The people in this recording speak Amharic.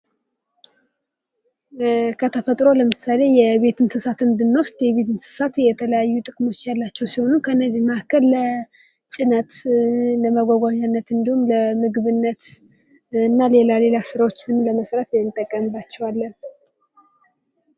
ከተፈጥሮ ለምሳሌ የቤት እንስሳት ብንወስድ የቤት እንስሳት የተለያዩ ጥቅሞች ያላቸው ሲሆኑ ከነዚህም መካከል ለጭነት፣ ለመጓጓዣነት እንዲሁም ለምግብነት እና ሌላ ሌላ ስራዎችንም ለመስራት እንጠቀምባቸዋለን።